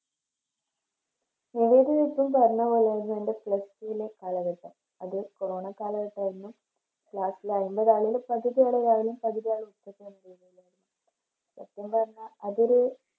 ഇപ്പൊ പറഞ്ഞപോലെന്നെ എൻറെ Plus two ലെ കാലഘട്ടം അത് കൊറോണ കാലഘട്ടവാരുന്നു Class ല് പകുതിയാള് രാവിലേം പകുതിയാള് ഉച്ചക്കും അങ്ങനെയെല്ലാരുന്നു സത്യം പറഞ്ഞ അതോര്